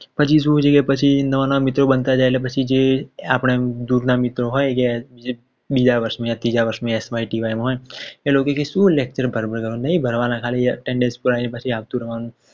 પછી શું છે કે પછી નવા નવા મિત્ર બનતા જાય પછી જે આપણા દુરમાં મિત્ર હોય જે બીજા વર્ષે ત્રીજા વર્ષે